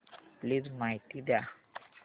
please माहिती द्या